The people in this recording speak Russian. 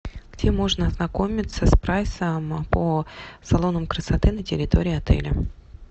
где можно ознакомиться с прайсом по салонам красоты на территории отеля